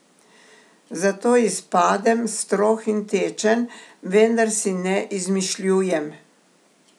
Zato izpadem strog in tečen, vendar si ne izmišljujem.